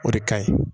O de ka ɲi